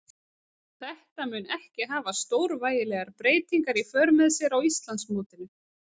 Þetta mun ekki hafa stórvægilegar breytingar í för með sér á Íslandsmótinu.